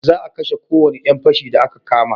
Za a kashe ko wani yan fashi da a ka kama